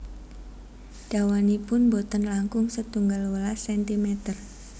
Dawanipun boten langkung setunggal welas sentimer